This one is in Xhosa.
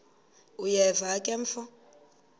uyeva ke mfo